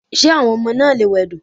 Ṣé àwọn ọmọ náà lè wẹdò?